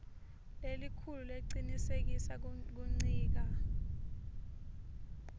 lelikhulu lecinisekisa kuncika